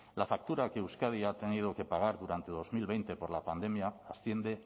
la factura que euskadi ha tenido que pagar durante dos mil veinte por la pandemia asciende